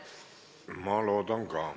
Ma loodan ka.